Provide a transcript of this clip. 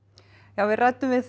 við ræddum við